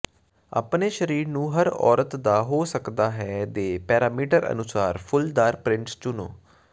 ਆਪਣੇ ਸਰੀਰ ਨੂੰ ਹਰ ਔਰਤ ਦਾ ਹੋ ਸਕਦਾ ਹੈ ਦੇ ਪੈਰਾਮੀਟਰ ਅਨੁਸਾਰ ਫੁੱਲਦਾਰ ਪ੍ਰਿੰਟਸ ਚੁਣੋ